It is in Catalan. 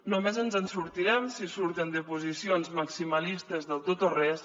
només ens en sortirem si surten de posicions maximalistes del tot o res